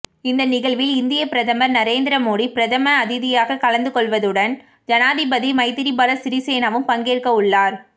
இந்த நிகழ்வில் இந்தியப் பிரதமர் நரேந்திர மோடி பிரதம அதிதியாகக் கலந்து கொள்ளவுள்வதுடன் ஜனாதிபதி மைத்திரிபால சிறிசேனவும் பங்கேற்கவுள்ளார்